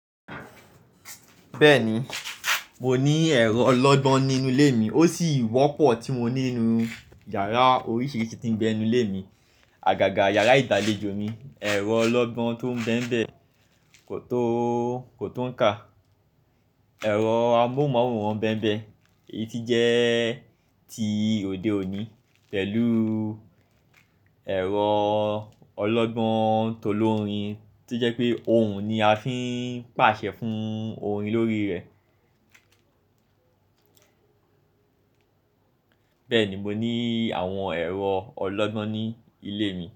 Bẹ́ẹ̀ni, mo ní ẹ̀rọ ọlọ́gbọ́n nínú ilé mi. Ó sì wọ́pọ̀ tí mo ní inú yàrá oríṣìíríṣìí tí ń bé nínú ilé mi. Àgàgà yàrá ìgba alejo mi, ẹ̀rọ ọlọ́gbọ́n tó ń bẹ́mbẹ́ kò tó ń kà, ẹ̀rọ amóhùnmáwòrán bẹ́mbẹ́, èyí tí jẹ́ ti òde òní pẹ̀lú ẹ̀rọ ọlọ́gbọ́n tó lórin tí jẹ́ pé òun ni a fi ń pàṣẹ fún orin lórí rẹ̀. Bẹ́ẹ̀ni, mo ní àwọn ẹ̀rọ ọlọ́gbọ́n ní ilé mi.